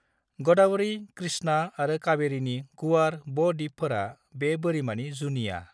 ग'दावरी, कृष्णा आरो काबेरीनि गुवार ब-द्वीपफोरा बे बोरिमानि जुनिया।